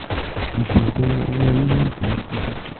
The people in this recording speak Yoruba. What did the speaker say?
Ìṣòro Owó Orílẹ̀-Èdè Íjíbítì